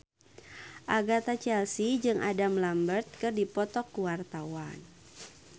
Agatha Chelsea jeung Adam Lambert keur dipoto ku wartawan